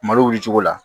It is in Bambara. Malo wuli cogo la